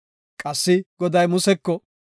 Qassi Goday Museko,